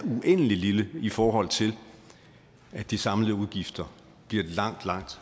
uendelig lille i forhold til at de samlede udgifter bliver langt langt